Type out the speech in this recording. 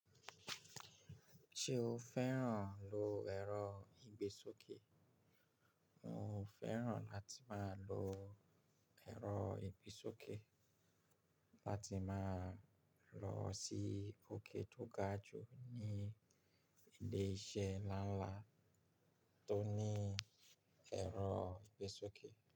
Ṣé o fẹ́ràn lo ẹ̀rọ ìgbésókè? Mo fẹ́ràn láti máa lo ẹ̀rọ ìgbésókè láti máa lọ sí òkè tó ga jù ní ilé-iṣẹ́ ńlá ńlá tó ní ẹ̀rọ ìgbésókè.